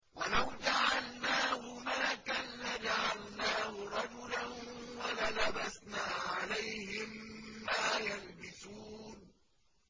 وَلَوْ جَعَلْنَاهُ مَلَكًا لَّجَعَلْنَاهُ رَجُلًا وَلَلَبَسْنَا عَلَيْهِم مَّا يَلْبِسُونَ